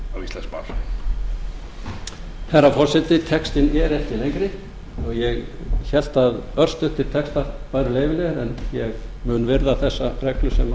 íslenskt mál herra forseti textinn er ekki lengri og ég hélt að örstuttir textar væru leyfilegir en ég mun virða þessa reglu sem